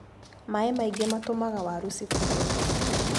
Maĩ maingi matũmaga waru cibuthe.